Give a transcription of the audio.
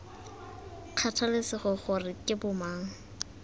kgathalesege gore ke bo mang